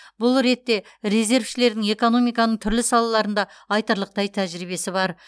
бұл ретте резервшілердің экономиканың түрлі салаларында айтарлықтай тәжірибесі бар